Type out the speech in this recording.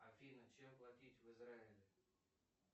афина чем платить в израиле